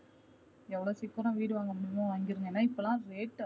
எவ்ளோ சீக்கரம் வீடு வாங்க முடியுமோ வாங்கிடுங்க ஏனா இப்போல rate